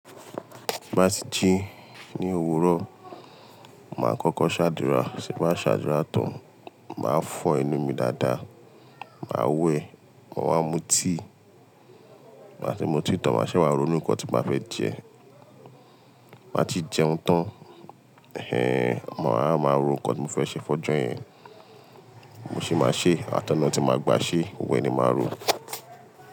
Bá ti jí ní òwúrọ̀, màá kọ́kọ́ ṣàdúrà, ti bá ṣàdúrà tán, màá fọ́ enú mi dáadáa, màá wẹ̀, mo máa mú tíì, bá ti mú tíì tán, màá ṣẹ̀ wá ronú ǹkan tí màá fẹ́ jẹ, bá ti jẹun tán, ẹhn, mo á máa ronú ǹkan tí mo fẹ́ ṣe fọ́jú yẹn, mo sì máa ṣe é, àtẹ náà tí màá gba ṣé, wẹ́ẹ́ ni màá ronú.